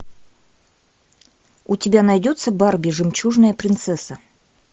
у тебя найдется барби жемчужная принцесса